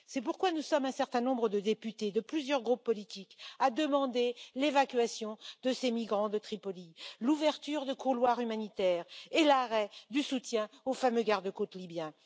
C'est pourquoi nous sommes un certain nombre de députés de plusieurs groupes politiques à demander l'évacuation de ces migrants de Tripoli, l'ouverture de couloirs humanitaires et l'arrêt du soutien aux fameux garde côtes libyens.